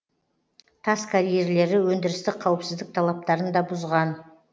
тас карьерлері өндірістік қауіпсіздік талаптарын да бұзған